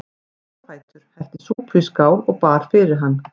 Hún stóð á fætur, hellti súpu í skál og bar fyrir hann.